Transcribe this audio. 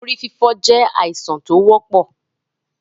Orí fífọ́ jẹ́ àìsàn tó wọ́pọ̀.